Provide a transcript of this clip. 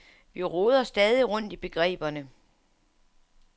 Vi roder stadig rundt i begreberne.